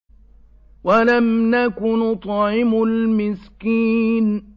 وَلَمْ نَكُ نُطْعِمُ الْمِسْكِينَ